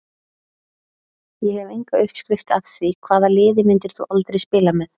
Ég hef enga uppskrift af því Hvaða liði myndir þú aldrei spila með?